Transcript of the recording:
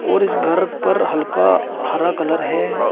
और इस घर पर हल्का हरा कलर है।